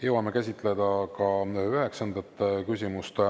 Jõuame käsitleda ka üheksandat küsimust.